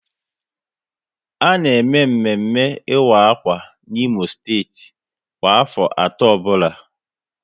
A na eme mmemme ịwa akwa n'Imo steeti kwa afọ atọ ọbụla